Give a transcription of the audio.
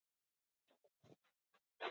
veistu Lulla, á ég að segja þér soldið?